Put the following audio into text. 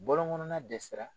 Bɔlɔn kɔnɔna dɛsɛra